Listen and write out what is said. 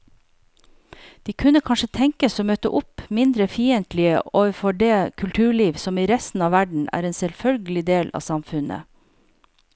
De kunne kanskje tenkes å møte opp mindre fiendtlige overfor det kulturliv som i resten av verden er en selvfølgelig del av samfunnet.